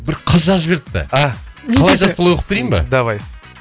бір қыз жазып жіберіпті а қалайша солай оқып берейін ба давай